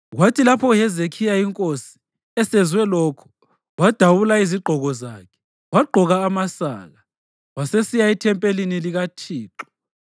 Kwathi lapho uHezekhiya, inkosi, esezwe lokhu, wadabula izigqoko zakhe wagqoka amasaka, wasesiya ethempelini likaThixo.